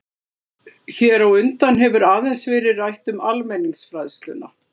Hér á undan hefur aðeins verið rætt um almenningsfræðsluna.